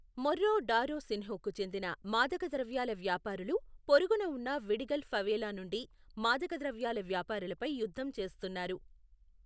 మొర్రో da రోసిన్హ్కు చెందిన మాదకద్రవ్యాల వ్యాపారులు పొరుగున ఉన్న విడిగల్ ఫవేలా నుండి మాదకద్రవ్యాల వ్యాపారులపై యుద్ధం చేస్తున్నారు.